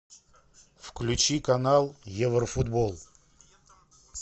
включи канал еврофутбол